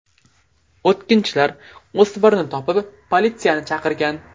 O‘tkinchilar o‘smirni topib politsiyani chaqirgan.